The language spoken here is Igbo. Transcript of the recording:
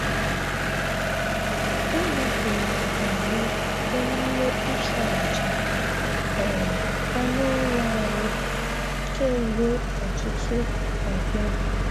Enyefere anyị emume ịchụ-aja um anụ ụlọ anyị kemgbe ọtụtụ ọgbọ